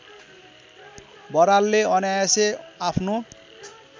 बरालले अनायासै आफ्नो